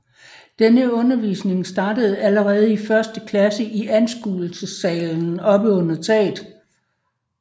Denne undervisning startede allerede i første klasse i anskuelsessalen oppe under taget